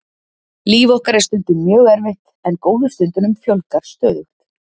Líf okkar er stundum mjög erfitt en góðu stundunum fjölgar stöðugt.